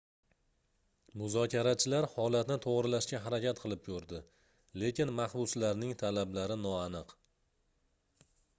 muzokarachilar holatni toʻgʻrilashga harakat qilib koʻrdi lekin mahbuslarning talablari noaniq